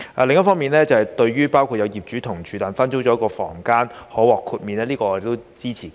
另一方面，對於分租了一個房間的同住業主可獲豁免規管，我們都是支持的。